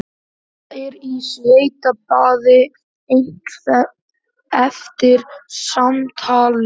Edda er í svitabaði eftir samtalið.